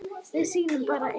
Við sýnum bara ein